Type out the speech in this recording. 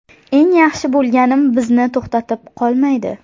Eng yaxshi bo‘lganim bizni to‘xtatib qo‘ymaydi.